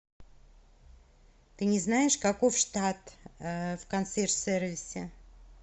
ты не знаешь каков штат в консьерж сервисе